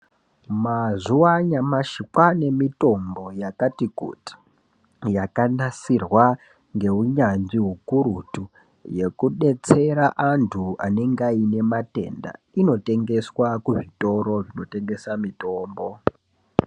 Mazuva anyamashi kwane mitombo yakati kuti yakanasirwa ngeunyanzvi ukurutu yekudetsera antu anenge aine matenda inotengeswe kuzvitoro zvinotengeswe mitombo.